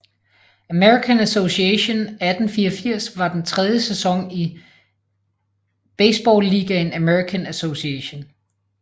American Association 1884 var den tredje sæson i baseballligaen American Association